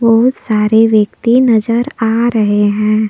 बहुत सारे व्यक्ति नजर आ रहे हैं।